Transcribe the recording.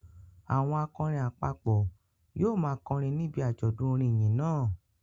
Àwọn akọrin àpapọ̀ yóò máa kọrin níbi àjọ̀dún orin ìyìn náà